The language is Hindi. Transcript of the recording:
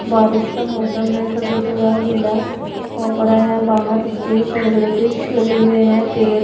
बारिश का मौसम है सभी जगह गीला हो पड़ा है। बाहर उसके बड़े-बड़े वृक्ष लगे हुए हैं। गेट --